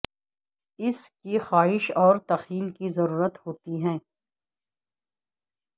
اس کی خواہش اور تخیل کی ضرورت ہوتی ہے